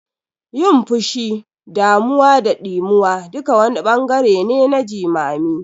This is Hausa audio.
Yin fushi, damuwa da ɗimuwa duka wani ɓangare ne na jimami.